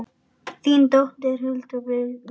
þín dóttir, Hulda Birna.